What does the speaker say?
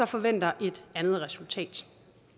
forventer et andet resultat